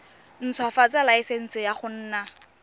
ntshwafatsa laesense ya go nna